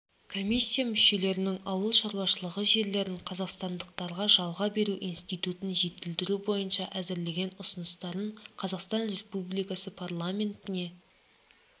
комиссия мүшелерінің ауыл шаруашылығы жерлерін қазақстандықтарға жалға беру институтын жетілдіру бойынша әзірлеген ұсыныстарын қазақстан республикасы парламентіне